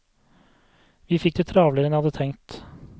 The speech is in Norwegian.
Vi fikk det travlere enn jeg hadde tenkt.